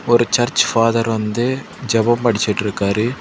ஒரு church father வந்து ஜாவ படிச்சிட்ருக்காரு.